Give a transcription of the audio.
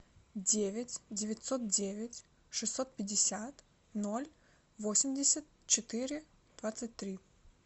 девять девятьсот девять шестьсот пятьдесят ноль восемьдесят четыре двадцать три